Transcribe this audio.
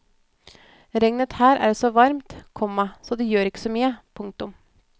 Regnet her er så varmt, komma så det gjør ikke så mye. punktum